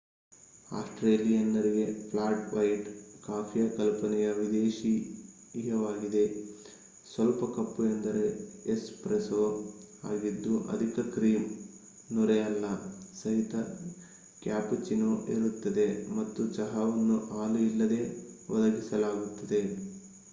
ಆಸ್ಟ್ರೇಲಿಯನ್ನರಿಗೆ 'flat white' ಕಾಫಿಯ ಕಲ್ಪನೆಯು ವಿದೇಶೀಯವಾಗಿದೆ. ಸ್ವಲ್ಪ ಕಪ್ಪು ಎಂದರೆ 'ಎಸ್‌ಪ್ರೆಸೋ' ಆಗಿದ್ದು ಅಧಿಕ ಕ್ರೀಮ್‌ ನೊರೆ ಅಲ್ಲ ಸಹಿತ ಕ್ಯಾಪುಚಿನೋ ಇರುತ್ತದೆ ಮತ್ತು ಚಹಾವನ್ನು ಹಾಲು ಇಲ್ಲದೇ ಒದಗಿಸಲಾಗುತ್ತದೆ